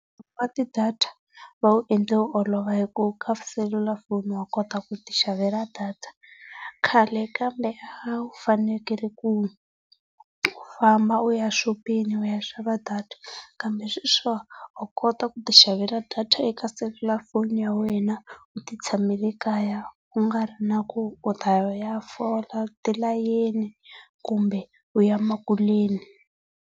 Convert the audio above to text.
date vawu endle wu olova hi ku ka selulafoni wa kota ku ti xavela data. Khale kambe a wu fanekele ku u famba u xa exopeni u ya xava data, kambe sweswi wa kota ku ti xavela data eka selulafoni ya wena u ti tshamele ekaya ku nga ri na ku u ta ya u ya fola tilateni kumbe u ya emakuleni.